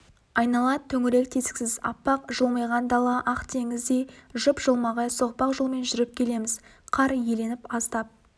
айнала төңірек тесіксіз аппақ жылмиған дала ақ теңіздей жып-жылмағай соқпақ жолмен жүріп келеміз қар иленіп аздап